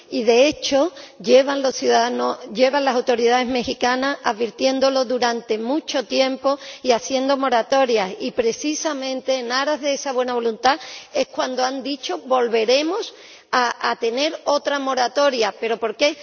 Y, de hecho, llevan las autoridades mexicanas advirtiéndolo durante mucho tiempo y haciendo moratorias, y, precisamente, en aras de esa buena voluntad es cuando han dicho que volveremos a tener otra moratoria. Pero ¿por qué?